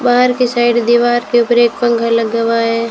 बाहर की साइड दीवार के ऊपर एक पंखा लगा हुआ है।